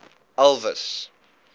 elvis